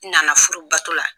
N na na furubato la.